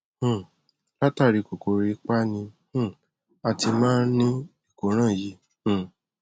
um látàrí kòkòrò ipá ni um a ti máa ń ní ìkóràn yìí um